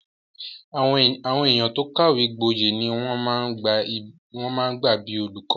Àwọn èèyàn tó kàwé gbọyè ni wọ́n máa ń gbà bíi olùkọ́